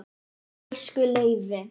Elsku Leifi.